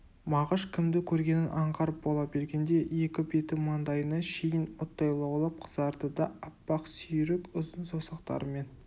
мағыш кімді көргенін аңғарып бола бергенде екі беті маңдайына шейін оттай лаулап қызарды да аппақ сүйрік ұзын саусақтарымен